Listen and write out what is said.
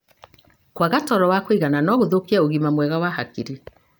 Kwaga toro wa kũigana no gũthũkie ũgima mwega wa hakiri.